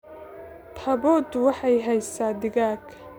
taboodu waxay haysaa digaag